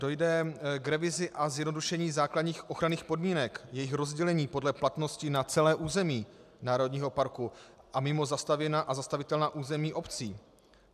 Dojde k revizi a zjednodušení základních ochranných podmínek, jejich rozdělení podle platnosti na celé území národního parku a mimo zastavěná a zastavitelná území obcí.